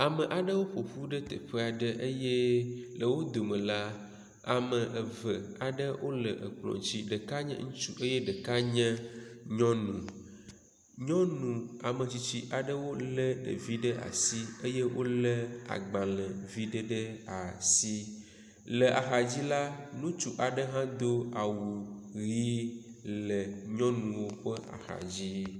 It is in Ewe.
Ame aɖewo ƒoƒu ɖe teƒe aɖe eye le wo dome la, ame eve aɖe wo le ekpɔ dzi. Ɖeka nye ŋursu eye ɖeka nye nyɔnu. Nyɔnu ame tsitsi aɖewo le ɖevi ɖe asi eye wo le agbalevi ɖe ɖe asi. Le axadzi la ŋutsu aɖe hã do awu ʋi le nyɔnuwo ƒe axadzi.